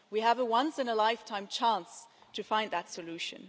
We have a once in a lifetime chance to find that solution.